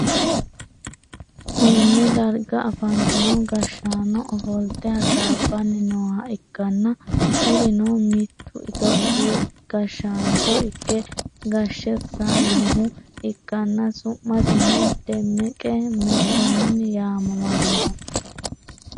konne darga afantino gashshaano ofolte hasaabbanni nooha ikkanna, kurino mittu itiyoophiyu gashshaancho ikke gashshe sa'inohu ikkanna, su'masino demeqe mekkonnini yaamamannoho,